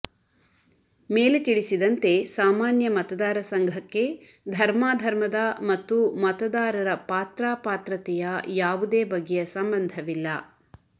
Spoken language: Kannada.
ಮೇಲೆ ತಿಳಿಸಿದಂತೆ ಸಾಮಾನ್ಯ ಮತದಾರ ಸಂಘಕ್ಕೆ ಧರ್ಮಾಧರ್ಮದ ಮತ್ತು ಮತದಾರರ ಪಾತ್ರಾಪಾತ್ರತೆಯ ಯಾವುದೇ ಬಗೆಯ ಸಂಬಂಧವಿಲ್ಲ